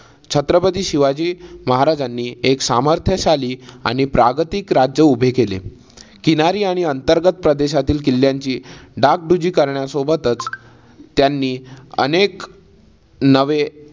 छत्रपती शिवाजी महाराजांनी एक सामर्थ्यशाली आणि प्रागतिक राज्य उभे केले. किनारी आणि अंतर्गत प्रदेशातील किल्ल्यांची डागडुजी करण्यासोबतच त्यांनी अनेक नवे